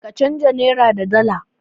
Ka canja nairarka da dala.